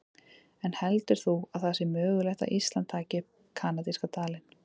En heldur þú að það sé mögulegt að Ísland taki upp kanadíska dalinn?